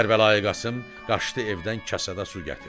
Kərbəlayi Qasım qaçdı evdən kasada su gətirdi.